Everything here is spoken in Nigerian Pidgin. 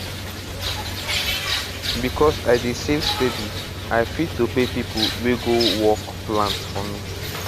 because i dey save steady i fit to pay people wey go work plant for me